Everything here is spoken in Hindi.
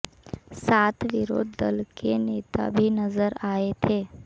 साथ विरोध दल के नेता भी नजर आए थे